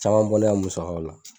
Caman bɔ ne ya musakaw la.